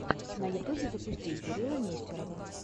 на ютубе запусти кирилла нестерова